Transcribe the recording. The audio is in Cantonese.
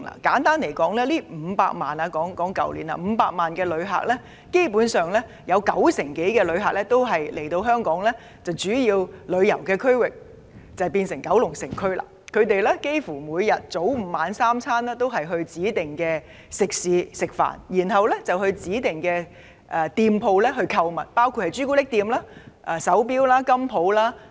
簡單而言，在去年的500萬人次的旅客當中，九成以上旅客來港主要到訪九龍城區，他們早午晚三餐在指定食肆吃飯，然後到指定店鋪購物，包括朱古力店、手錶店及金鋪等。